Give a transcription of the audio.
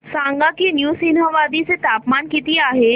सांगा की नृसिंहवाडी चे तापमान किती आहे